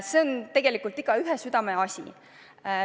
See on igaühe südameasi.